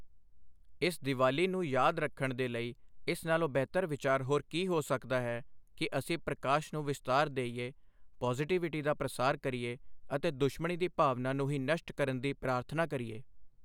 ਇਸ ਦੀਵਾਲੀ ਨੂੰ ਯਾਦ ਰੱਖਣ ਦੇ ਲਈ ਇਸ ਨਾਲੋਂ ਬਿਹਤਰ ਵਿਚਾਰ ਹੋਰ ਕੀ ਹੋ ਸਕਦਾ ਹੈ ਕਿ ਅਸੀਂ ਪ੍ਰਕਾਸ਼ ਨੂੰ ਵਿਸਤਾਰ ਦੇਈਏ, ਪੋਜ਼ਿਟੀਵੀਟੀ ਦਾ ਪ੍ਰਸਾਰ ਕਰੀਏ ਅਤੇ ਦੁਸ਼ਮਣੀ ਦੀ ਭਾਵਨਾ ਨੂੰ ਹੀ ਨਸ਼ਟ ਕਰਨ ਦੀ ਪ੍ਰਾਰਥਨਾ ਕਰੀਏ।